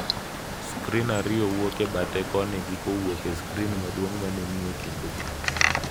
Skrin ariyo wuok e bathe koni gi kowuok e skrin maduong’ ma ni e kindgi.